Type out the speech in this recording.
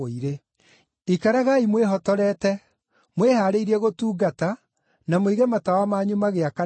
“Ikaragai mwĩhotorete, mwĩhaarĩirie gũtungata, na mũige matawa manyu magĩakanaga,